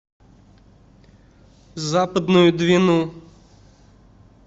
западную двину